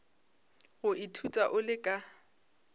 go ithuta o le ka